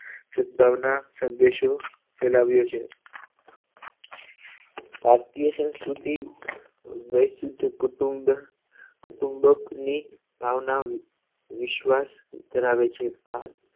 સદભાવના સંદેશો ફેલાવ્યો છે ભારતીય સંસ્કૃતિ વૈશ્વિક કુટુંબ કુટુંબકની ભાવના વિશ્વાસ ધરાવે છે ભાગ